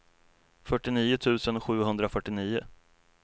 fyrtionio tusen sjuhundrafyrtionio